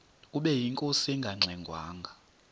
ubeyinkosi engangxe ngwanga